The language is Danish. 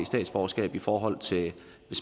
statsborgerskab i forhold til at